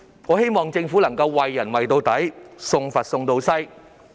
我希望政府能夠"為人為到底，送佛送到西"。